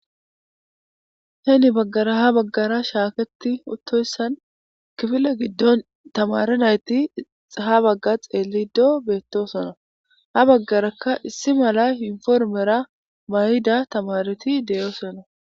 Heni baggara hani baggara shaaketi uttoyssan kifile giddon tamaare nayti haa xeelildo beettosona. Ha baggarakka issi mala yunupormera mayida tamaareti de'osona